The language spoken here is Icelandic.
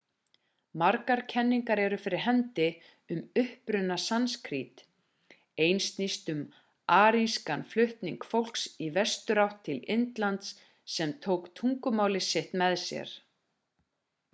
margar kenningar eru fyrir hendi um uppruna sanskrít ein snýst um arískan flutning fólks í vesturátt til indlands sem tók tungumálið sitt með sér